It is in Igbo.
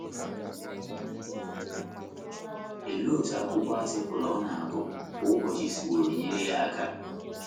Olee otú akwụkwọ atịkụlụ ọ na - agụ kwa ụbọchị siworo nyere ya aka?